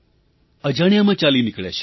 અજાણ્યામાં ચાલી નીકળે છે